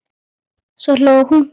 Svo hló hún.